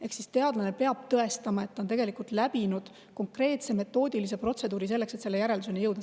Ehk siis teadlane peab tõestama, et ta on läbinud konkreetse metoodilise protseduuri selleks, et järelduseni jõuda.